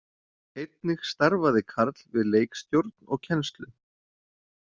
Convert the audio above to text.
Einnig starfaði Karl við leikstjórn og kennslu.